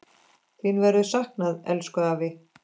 Þín verður saknað, elsku afi.